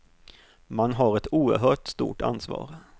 Man har ett oerhört stort ansvar.